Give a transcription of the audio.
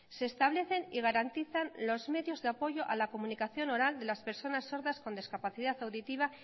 se establecen y garantizan los medios de apoyo a la comunicación oral de las personas sordas con discapacidad auditiva